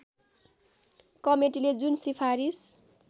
कमेटीले जुन सिफारिस